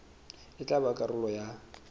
e tla ba karolo ya